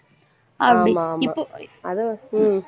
ஆமா ஆமா அதுவும் உம்